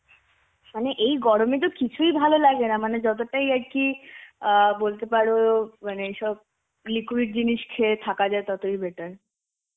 মানে এই গরমে তো কিছুই ভালো লাগে না. মানে যতটাই আর কি অ্যাঁ বলতে পারো মানে সব liquid জিনিস খেয়ে থাকা যায় ততই better.